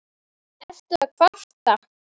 Ertu að kvarta?